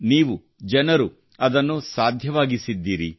ನೀವು ಜನರು ಅದನ್ನು ಸಾಧ್ಯವಾಗಿಸಿದ್ದೀರಿ